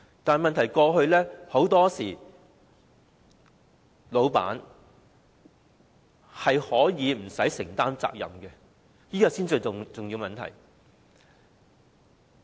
但問題在於過去老闆往往無須承擔責任，這是最重要的問題。